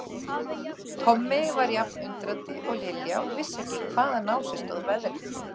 Tommi var jafn undrandi og Lilja og vissi ekki hvaðan á sig stóð veðrið.